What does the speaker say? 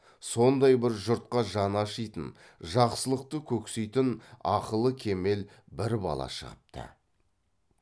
сондай бір жұртқа жаны ашитын жақсылықты көксейтін ақылы кемел бір бала шығыпты